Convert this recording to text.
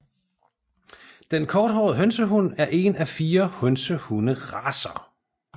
Den Korthåret hønsehund er en af fire hønsehund